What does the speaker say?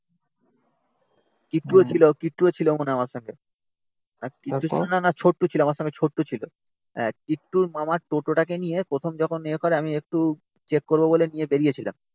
কিট্টুও ছিল, কিট্টুও ছিল মনে হয় আমার সাথে না না ছোট্টু ছিল, আমার সঙ্গে ছোট্টু ছিল. আ কিট্টুর মামার টোটো টাকে নিয়ে প্রথম যখন ইয়ে করে, আমি একটু চেক করবো বলে নিয়ে বেরিয়েছিলাম